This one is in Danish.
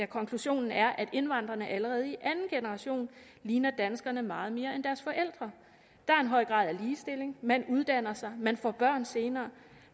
konklusion er at indvandrerne allerede i anden generation ligner danskerne meget mere end deres forældre der er en høj grad af ligestilling man uddanner sig man får børn senere